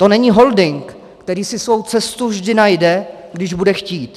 To není holding, který si svou cestu vždy najde, když bude chtít.